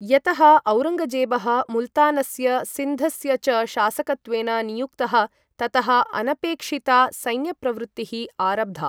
यतः औरङ्गजेबः मुल्तानस्य सिन्धस्य च शासकत्वेन नियुक्तः, ततः अनपेक्षिता सैन्यप्रवृत्तिः आरब्धा।